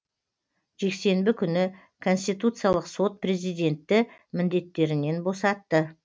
жексенбі күні конституциялық сот президентті міндеттерінен босатты